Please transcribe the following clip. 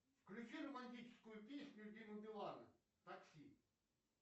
включи романтическую песню димы билана такси